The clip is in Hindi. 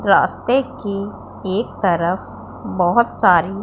रास्ते की एक तरफ बहोत सारी--